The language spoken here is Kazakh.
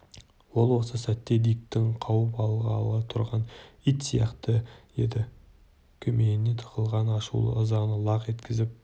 ол осы сәтте дикті қауып алғалы тұрған ит сияқты еді көмейіне тығылған ашулы ызаны лақ еткізіп